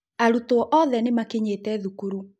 Aruto othe nĩmakinyete thukuru